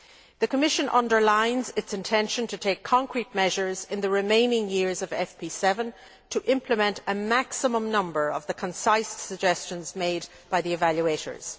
The Commission underlines its intention to take concrete measures in the remaining years of the FP7 to implement a maximum number of the concise suggestions made by the evaluators.